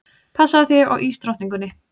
Passaðu þig á ísdrottningunni.